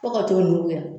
Fo ka t'o nuguya